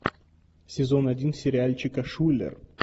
сезон один сериальчика шулер